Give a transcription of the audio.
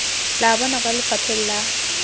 la bona kwa lefapheng la